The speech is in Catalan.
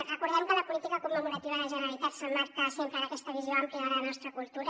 recordem que la política commemorativa de la generalitat s’emmarca sempre en aquesta visió àmplia de la nostra cultura